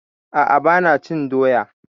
A'a, ba na cin doya